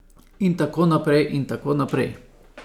In tako naprej in tako naprej ...